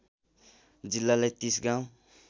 जिल्लालाई ३० गाउँ